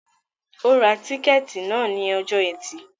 Ó Ra tíkẹ́tì náà ni ọjọ́ ẹtì